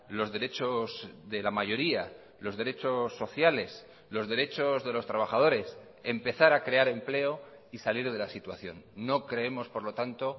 los derechos de la mayoría los derechos sociales los derechos de los trabajadores empezar a crear empleo y salir de la situación no creemos por lo tanto